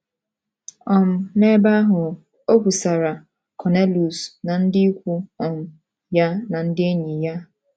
um N’ebe ahụ, o kwusara Cornelius na ndị ikwu um ya na ndị enyi ya.